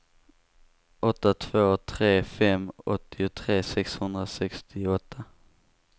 åtta två tre fem åttiotre sexhundrasextioåtta